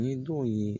Ni don ye